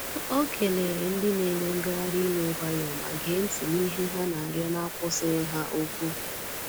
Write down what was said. Ọ keleere ndị na-eme ngagharị iwe nwayọọ ma gee ntị n’ihe ha na-arịọ n'akwụsịghị ha okwu.